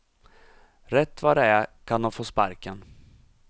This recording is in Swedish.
Rätt vad det är kan de få sparken.